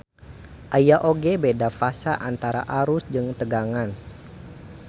Aya oge beda fasa antara arus jeung tegangan.